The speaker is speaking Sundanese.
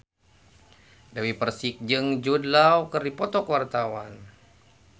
Dewi Persik jeung Jude Law keur dipoto ku wartawan